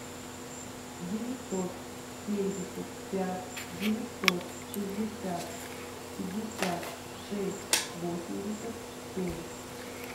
девятьсот семьдесят пять девятьсот шестьдесят пятьдесят шесть восемьдесят семь